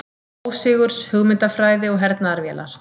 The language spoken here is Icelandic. Ósigurs hugmyndafræði og hernaðarvélar.